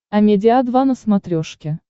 амедиа два на смотрешке